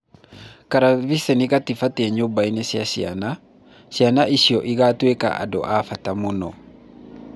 Karaviceni gatibatiĩ nyũmbainĩ cia ciana, ‘’ciana icio igatuĩka andũ a bata mũno’’